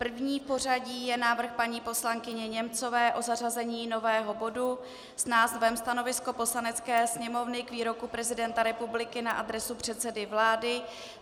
První v pořadí je návrh paní poslankyně Němcové na zařazení nového bodu s názvem Stanovisko Poslanecké sněmovny k výroku prezidenta republiky na adresu předsedy vlády.